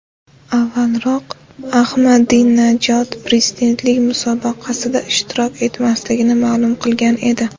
Avvalroq, Ahmadinajod prezidentlik musobaqasida ishtirok etmasligini ma’lum qilgan edi.